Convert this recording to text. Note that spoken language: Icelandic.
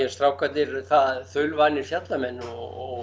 strákarnir eru þaulvanir fjallamenn og